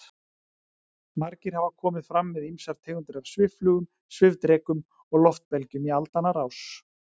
Margir hafa komið fram með ýmsar tegundir af svifflugum, svifdrekum og loftbelgjum í aldanna rás.